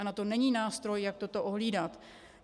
A na to není nástroj, jak toto ohlídat.